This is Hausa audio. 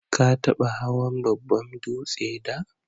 Ka taba hawan babban dūtse da?